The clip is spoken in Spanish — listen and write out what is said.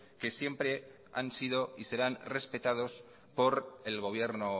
que siempre han sido y serán respetados por el gobierno